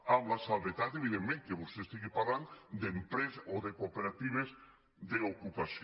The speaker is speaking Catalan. amb la salvetat evidentment que vostè parli d’empreses o de cooperatives d’ocupació